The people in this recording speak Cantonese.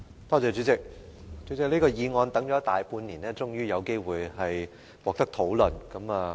代理主席，這項議案等了大半年，現在終於可以進行辯論了。